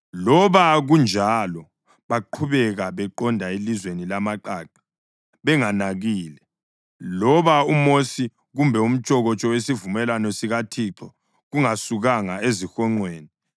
Loba kunjalo, baqhubeka beqonde elizweni lamaqaqa benganakile, loba uMosi kumbe umtshokotsho wesivumelwano sikaThixo kungasukanga ezihonqweni.